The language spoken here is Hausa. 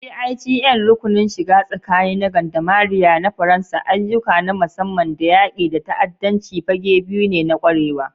GIGN (Rukunin shiga tsakani na Gendarmerie na Faransa), ayyuka na musamman da yaƙi da ta'addanci fage biyu ne na ƙwarewa.